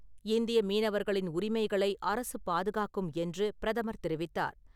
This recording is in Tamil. இந்திய மீனவர்களின் உரிமைகளை அரசு பாதுகாக்கும் என்று பிரதமர் தெரிவித்தார்.